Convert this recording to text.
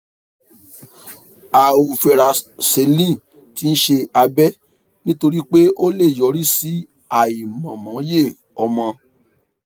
àhò varococele ti ń ṣe abẹ́ nítorí pé ó lè yọrí sí àìmọmọye ọmọ